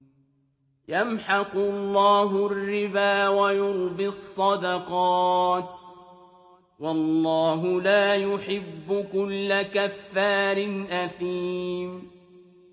يَمْحَقُ اللَّهُ الرِّبَا وَيُرْبِي الصَّدَقَاتِ ۗ وَاللَّهُ لَا يُحِبُّ كُلَّ كَفَّارٍ أَثِيمٍ